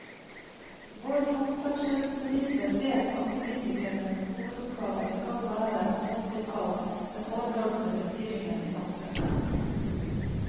Vår samferdselsminister vet at politikernes hovedoppgave skal være å ta seg av den overordnede styringen i samfunnet.